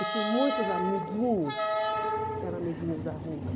E tive muitos amiguinhos que eram amiguinhos da rua.